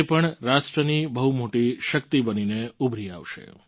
તે પણ રાષ્ટ્રની બહુ મોટી શક્તિ બનીને ઉભરી આવશે